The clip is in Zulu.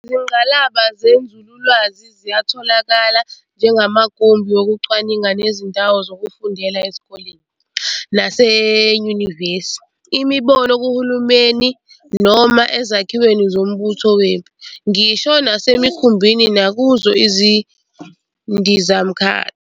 Izingqalaba zenzululwazi ziyatholakala njengamagumbi wokucwaninga nezindawo zokufundela ezikoleni nasenanyuvesi, Imboni, kuhulumeni, noma ezakhiweni zombutho wempi, ngisho nasemikhumbini nakuzo izindizamkhathi.